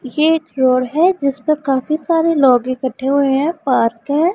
ये एक फ्लोर हैं जिस पर काफी सारे लोग इकट्ठे हुए हैं पार्क हैं।